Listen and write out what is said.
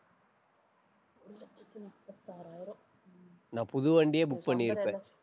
நான் புது வண்டியே book பண்ணிருப்பேன்.